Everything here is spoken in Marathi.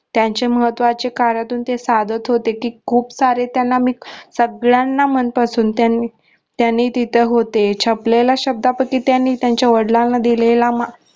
त्यांच्या महत्त्वाच्या कार्यातून ते साधत होते कि खूप सारे त्यांना मी सगळ्यांना मनपासून त्यांनी तिथ होते छापलेला शब्दापैकी त्यांनी त्याच्या वडिलांना देलेला.